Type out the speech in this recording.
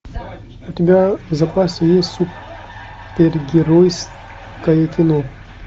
у тебя в запасе есть супергеройское кино